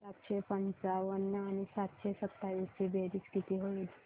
सातशे पंचावन्न आणि सातशे सत्तावीस ची बेरीज किती होईल